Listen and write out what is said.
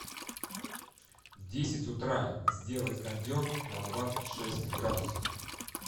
в десять утра сделать кондер на двадцать шесть градусов